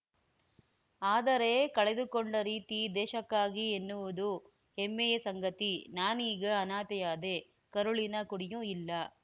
ಆದರೆ ಕಳೆದುಕೊಂಡ ರೀತಿ ದೇಶಕ್ಕಾಗಿ ಎನ್ನುವುದು ಹೆಮ್ಮೆಯ ಸಂಗತಿ ನಾನೀಗ ಅನಾಥೆಯಾದೆ ಕರುಳಿನ ಕುಡಿಯೂ ಇಲ್ಲ